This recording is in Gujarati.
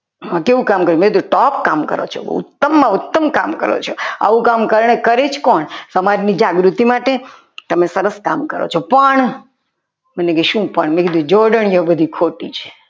કેવું કામ કર્યું? મેં કીધું top કામ કરો છો ઉત્તમમાં ઉત્તમ કામ કરો છો આવું કામ અત્યારે કરી જ કોણ સમાજની જાગૃતિ માટે તમે સરસ કામ કરો છો પણ મેં કીધું શું પણ જોડણીઓ બધી ખોટી ખોટી છે.